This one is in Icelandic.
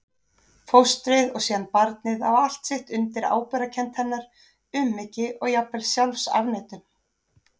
Fóstrið og síðan barnið á allt sitt undir ábyrgðarkennd hennar, umhyggju og jafnvel sjálfsafneitun.